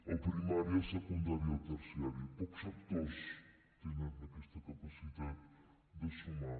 el primari el secundari i el terciari pocs sectors tenen aquesta capacitat de sumar